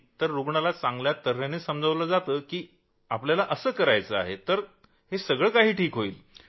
रूग्णाला चांगल्या तर्हेने समजावलं की आपल्याला असं करायचं आहे तर सारं काही ठीक होईल